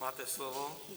Máte slovo.